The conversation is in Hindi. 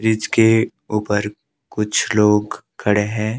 ब्रिज के ऊपर कुछ लोग खड़े हैं।